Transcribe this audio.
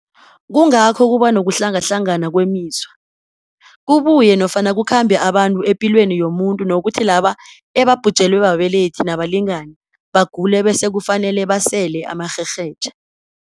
kungakho kuba nokuhlangahlangana kwemizwa, kubuye nofana kukhambe abantu epilweni yomuntu nokuthi laba ebabhujelwe babelethi nabalingani bagule bese kufanele basele amaRherhetjha.